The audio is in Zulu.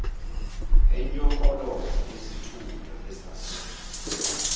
enyonkoloza izithunywa ezase